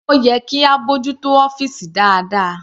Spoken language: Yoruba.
Ó yẹ kí a bójú tó ọ́fìsì dáadáa..